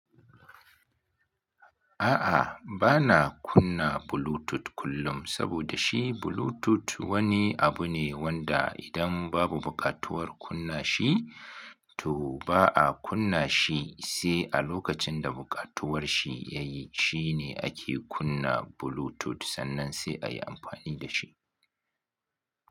A'a, ba'na kunna Bluetooth kullum, saboda shi Bluetooth wani abu ne wanda idan babu buƙatuwar kunna shi, to ba a kunna shi, sai a lokacin da buƙatuwar shi yayi, shine ake kunna Bluetooth, sannan sai a yi amfani da shi.